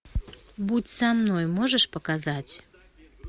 будь со мной можешь показать